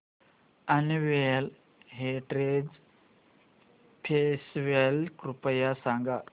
annual heritage festival कृपया सांगा